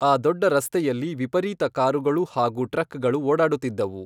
ಆ ದೊಡ್ಡ ರಸ್ತೆಯಲ್ಲಿ ವಿಪರೀತ ಕಾರುಗಳು ಹಾಗೂ ಟ್ರಕ್ಗಳು ಓಡಾಡುತ್ತಿದ್ದವು.